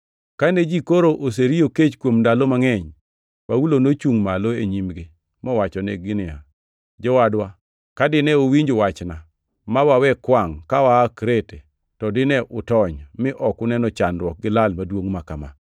Kane ji koro oseriyo kech kuom ndalo mangʼeny, Paulo nochungʼ malo e nyimgi mowachonegi niya, “Jowadwa ka dine uwinj wachna ma wawe kwangʼ ka waa Krete, to dine utony mi ok uneno chandruok gi lal maduongʼ ma kama.